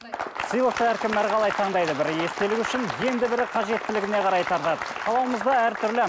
сыйлықты әркім әрқалай таңдайды бірі естелік үшін енді бірі қажеттілігіне қарай тартады қалауымыз да әртүрлі